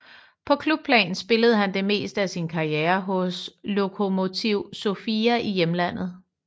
På klubplan spillede han det meste af sin karriere hos Lokomotiv Sofia i hjemlandet